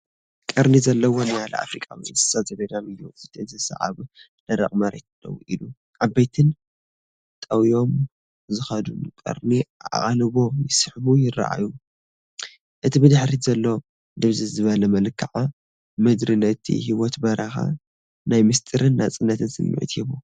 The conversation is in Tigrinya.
ቀርኒ ዘለዎ ኒያላ ኣፍሪቃዊ እንስሳ ዘገዳም እዩ። እቲ እንስሳ ኣብ ደረቕ መሬት ደው ኢሉ፡ ዓበይትን ጠውዮም ዝኸዱን ቀርኑ ኣቓልቦ ይስሕቡ ይረኣዩ። እቲ ብድሕሪት ዘሎ ድብዝዝ ዝበለ መልክዓ ምድሪ ነቲ ህይወት በረኻ ናይ ምስጢርን ናጽነትን ስምዒት ይህቦ።